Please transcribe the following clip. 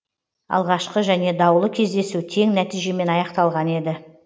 алғашқы және даулы кездесу тең нәтижемен аяқталған еді